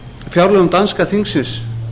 fjárlögum danska þingsins